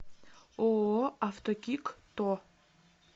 ооо автокик то